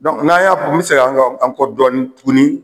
n'an y'a kun n bi seg'an ka an kɔ dɔɔnin tuguni